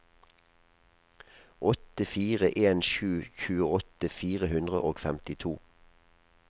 åtte fire en sju tjueåtte fire hundre og femtito